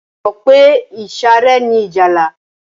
Ṣé o mọ̀ pé ìsàré ni ìjálá?